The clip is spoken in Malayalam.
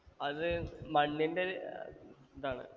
അത് മണ്ണിന്റെരു ഇതാണ്